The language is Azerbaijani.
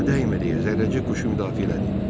Ona dəymə deyə zərrəcik quşu müdafiə elədi.